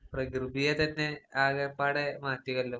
പ്രകൃതിയെത്തന്നെ ആകപ്പാടെ മാറ്റിയല്ലോ.